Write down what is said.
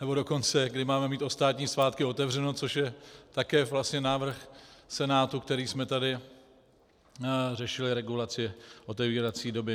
Nebo dokonce kdy máme mít ve státní svátky otevřeno, což je také vlastně návrh Senátu, který jsme tady řešili - regulaci otevírací doby.